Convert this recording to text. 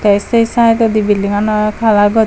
eh se saidodii building anot kalar gochun.